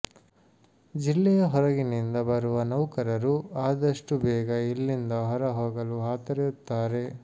ಜಿಲ್ಲೆಯ ಹೊರಗಿನಿಂದ ಬರುವ ನೌಕರರು ಆದಷ್ಟು ಬೇಗ ಇಲ್ಲಿಂದ ಹೊರ ಹೋಗಲು ಹಾತೊರೆಯುತ್ತಾರೆ